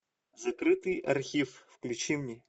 закрытый архив включи мне